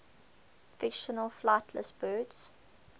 fictional flightless birds